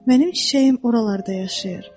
Mənim çiçəyim oralarda yaşayır.